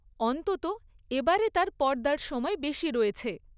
অন্ততঃ এবারে তার পর্দায় সময় বেশি রয়েছে।